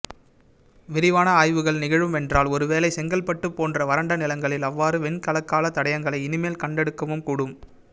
விரிவான ஆய்வுகள் நிகழுமென்றால் ஒருவேளை செங்கல்பட்டு போன்ற வரண்டநிலங்களில் அவ்வாறு வெண்கலக்கால தடையங்களை இனிமேல் கண்டெடுக்கவும்கூடும்